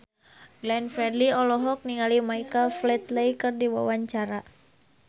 Glenn Fredly olohok ningali Michael Flatley keur diwawancara